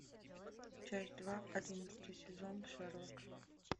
часть два одиннадцатый сезон шерлок